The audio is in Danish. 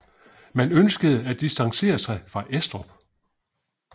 Man ønskede at distancere sig fra Estrup